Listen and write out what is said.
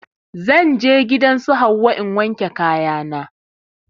Zan je gidan su Hauwa in wanke kaya na